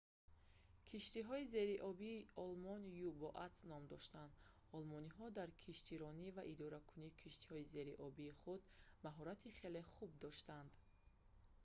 киштиҳои зериобии олмон u-boats ном дошанд олмониҳо дар киштиронь ва идоракунии киштиҳои зериобии худ мащорати хеле хуб доштанд